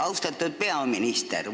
Austatud peaminister!